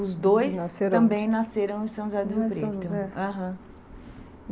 Os dois, nasceram onde? também nasceram em São José do Rio Preto. Não é São José? Aham.